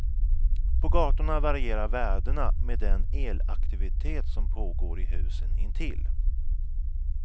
På gatorna varierar värdena med den elaktivitet som pågår i husen intill.